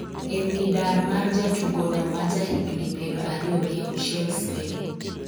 e wi dar mar jatugo no ma ja higni piero ariyo gi auchiel Spain